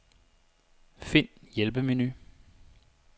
Find hjælpemenu.